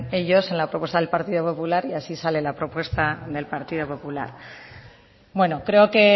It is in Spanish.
ellos en la propuesta del partido popular y así sale la propuesta del partido popular bueno creo que